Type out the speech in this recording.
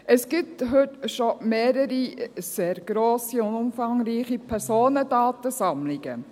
Es gibt heute schon mehrere sehr grosse und umfangreiche Personendatensammlungen.